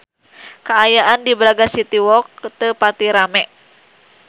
Kaayaan di Braga City Walk teu pati rame